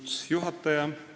Austatud juhataja!